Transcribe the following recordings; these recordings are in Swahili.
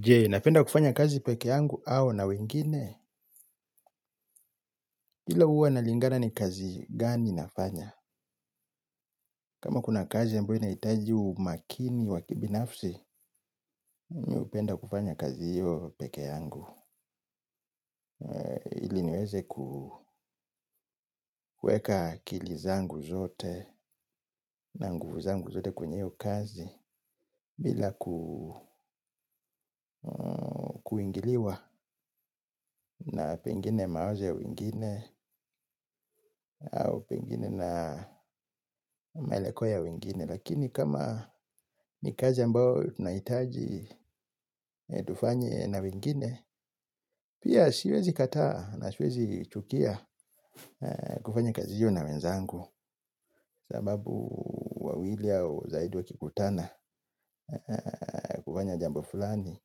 Je, napenda kufanya kazi peke yangu au na wengine, hilo huwa linalingana ni kazi gani nafanya. Kama kuna kazi ambayo inahitaji umakini wa kibinafsi, mimi hupenda kufanya kazi hiyo peke yangu. Ili niweze kuweka akili zangu zote na nguvu zangu zote kwenye hio kazi, bila kuingiliwa na pengine mawazo ya wengine au pengine na maelekeo ya wengine. Lakini kama ni kazi ambayo tunahitaji tufanye na wengine pia siwezi kataa na siwezi chukia kufanya kazi hiyo na wenzangu sababu wawili au zaidi wakikutana kufanya jambo fulani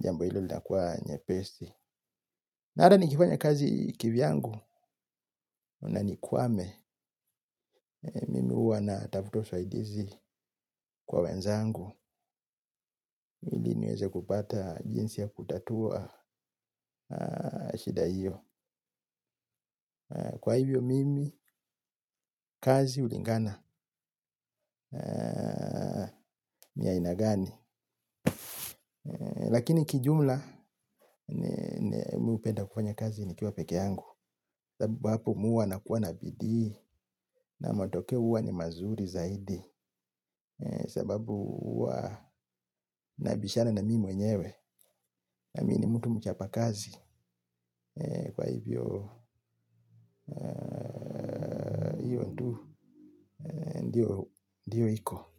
jambo hilo linakuwa nyepesi. Na hata nikifanya kazi kivyangu na nikwame. Mimi huwa natafuta usaidizi kwa wenzangu. Hili niweze kupata jinsi ya kutatua shida hiyo. Kwa hivyo mimi kazi hulingana ni ya aina gani. Lakini kijumla mimi hupenda kufanya kazi nikiwa peke yangu. Sababu mimi huwa nakuwa na bidii na matokeo huwa ni mazuri zaidi. Sababu huwa nabishana na mimi wenyewe. Mimi ni mtu mchapakazi kwa hivyo hiyo tu ndio iko.